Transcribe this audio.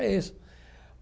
É isso.